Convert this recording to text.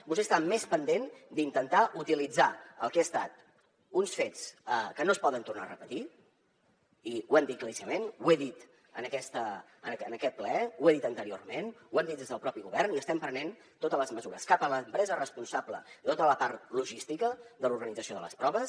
vostè està més pendent d’intentar utilitzar el que han estat uns fets que no es poden tornar a repetir i ho hem dit claríssimament ho he dit en aquest ple ho he dit anteriorment ho hem dit des del propi govern i estem prenent totes les mesures cap a l’empresa responsable de tota la part logística de l’organització de les proves